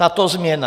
Tato změna?